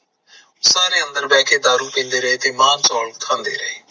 ਸਾਰੇ ਅੰਦਰ ਬੈਠ ਕੇ ਦਾਰੂ ਪੀਂਦੇ ਰਹੇ ਤੇ ਮਾਸ ਸੋਫਨ ਖਾਂਦੇ ਰਹੇ